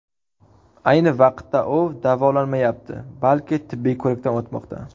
Ayni vaqtda u davolanmayapti, balki tibbiy ko‘rikdan o‘tmoqda.